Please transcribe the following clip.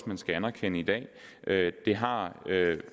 man skal anerkende i dag det har